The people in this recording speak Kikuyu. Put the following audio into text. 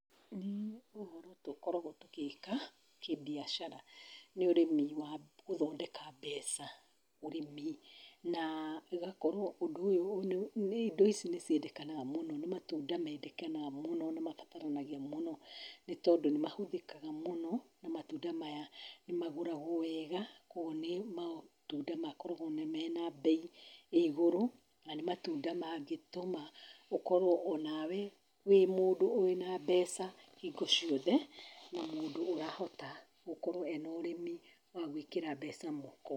Niĩ ũhoro tũkoragwo tũgĩka kĩ-biacara nĩ ũrĩmi wa gũthondeka mbeca, ũrĩmi na ĩgakorwo ũndũ ũyũ indo ici nĩ ciendekanaga mũno, nĩ matunda mendekanaga mũno, nĩ mabataranagia mũno, nĩ tondũ nĩ mahũthĩkaga mũno na matunda maya nĩ magũragwo wega koguo nĩ matunda makoragwo mena bei ĩ igũrũ, na nĩ matunda mangĩtũma ũkorwo o na we wĩ mũndũ wĩna mbeca hingo ciothe, na mũndũ ũrahota gũkorwo ena ũrĩmi wa gwĩkĩra mbeca mũhuko.